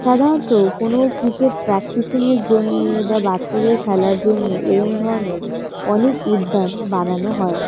সাধারণত কোনো cricket practising -এর জন্যে বা বাচ্চাদের খেলার জন্যে এরম ধরণের অনেক উদ্যান বানানো হয়।